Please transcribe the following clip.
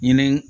Ɲinini